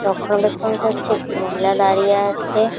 Phone করছে একটি মহিলা দাঁড়িয়ে আছে।